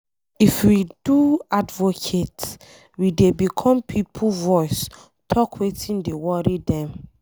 If we do advocate, we dey become pipo voice talk wetin dey worry dem.